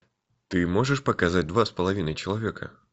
ты можешь показать два с половиной человека